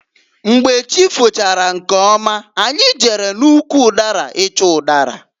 Mgbe chi fochara nkeọma anyị jere n'ụkwụ ụdara ịchọ ụdara.